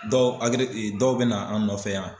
Dɔw agire dɔw bɛ na an nɔfɛ yan.